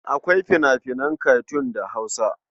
Akwai fina-finan katun da Hausa.